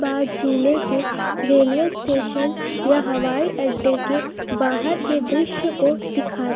बाद जिले के रेलवे स्टेशन या हवाई अड्डे के बाहर के दृश्य को दिखा--